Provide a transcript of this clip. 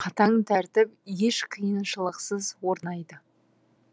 қатаң тәртіп еш қиыншылықсыз орнайды